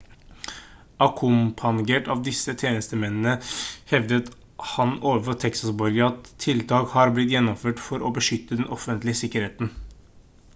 akkompagnert av disse tjenestemennene hevdet han ovenfor texas-borgere at tiltak har blitt gjennomført for å beskytte den offentlige sikkerheten